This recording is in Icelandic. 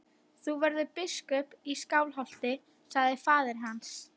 Þú verður biskup í Skálholti, sagði faðir hans.